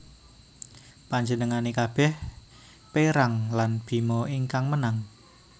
Panjenengane kabeh perang lan Bima ingkang menang